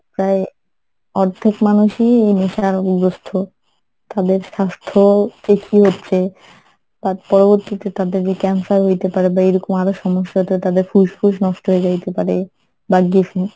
প্রায় অর্ধেক মানুষই এই নেশারগ্রস্থ তাদের স্বাস্থ্য যে কি হচ্ছে পরবর্তীতে তাদের যে Cancer হইতে পারে বা এরকম আরো সমস্যা তাদের ফুসফুস নষ্ট হয়ে যাইতে পারে বা গেছে।